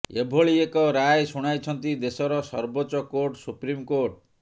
ଏଭଳି ଏକ ରାୟ ଶୁଣାଇଛନ୍ତି ଦେଶର ସର୍ବୋଚ୍ଚ କୋର୍ଟ ସୁପ୍ରିମକୋର୍ଟ